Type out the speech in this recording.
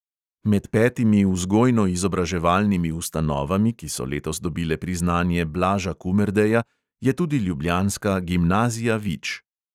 Med petimi vzgojno-izobraževalnimi ustanovami, ki so letos dobile priznanje blaža kumerdeja, je tudi ljubljanska gimnazija vič.